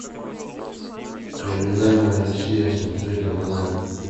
криминальная россия смотреть онлайн